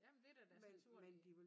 Ja men det da deres naturlige